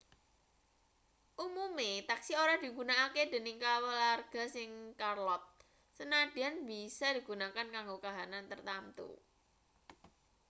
umume taksi ora digunakake dening kaluwarga ning charlotte sanadyan bisa digunakake kanggo kahanan tartamtu